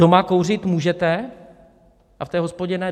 Doma kouřit můžete a v té hospodě ne.